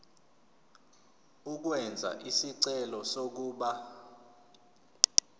ukwenza isicelo sokuba